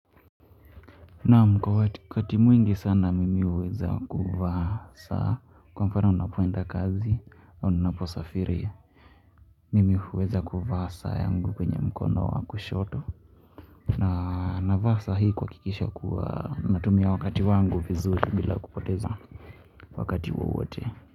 Naam kwa wakati mwingi sana mimi uweza kuvaa saa kwa mfano ninapoenda kazi au ninapo safiri. Mimi huweza kuvaa saa yangu kwenye mkono wa kushoto na navaa saa hii kuhakikisha kuwa natumia wakati wangu vizuri bila kupoteza wakati wowote.